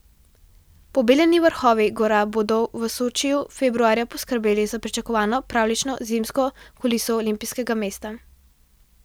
Pobeljeni vrhovi gora bodo v Sočiju februarja poskrbeli za pričakovano pravljično zimsko kuliso olimpijskega mesta.